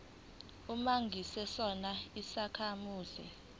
uma ungesona isakhamuzi